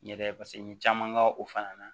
N yɛrɛ paseke n ye caman kɛ o fana na